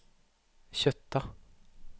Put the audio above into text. Kjøtta